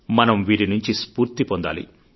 మనం వీరి నుంచి స్ఫూర్తి పొందాలి